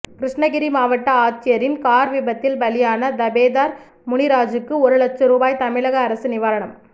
கிருஷ்ணகிரி மாவட்ட ஆட்சியரின் கார் விபத்தில் பலியான தபேதார் முனிராஜுக்கு ஒரு லட்ச ரூபாய் தமிழக அரசு நிவாரணம்